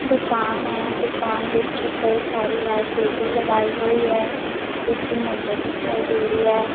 ਦੁਕਾਨ ਹੈ ਦੁਕਾਨ ਵਿੱਚ ਕਈ ਸਾਰੀ ਐਲ_ਸੀ_ਡੀ ਲਗਾਈ ਹੋਈ ਹੈ ਕੁਝ ਮੁੰਡੇ ਦਿਖਾਈ ਦੇ ਰਹੇ ਹੈ।